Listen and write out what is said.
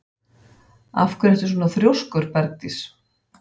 Af hverju ertu svona þrjóskur, Bergdís?